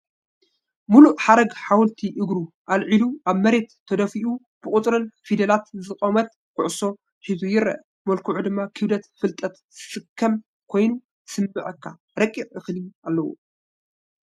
ምሉእ ሓረግ ሓወልቲ እግሩ ኣልዒሉ ኣብ መሬት ተደፊኡ ብቑጽርን ፊደላትን ዝቖመት ኩዕሶ ሒዙ ይርአ። መልክዑ ድማ ክብደት ፍልጠት ዝስከም ኮይኑ ዝስምዓካ ረቂቕ እኽሊ ኣለዎ።